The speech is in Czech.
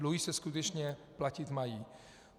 Dluhy se skutečně platit mají.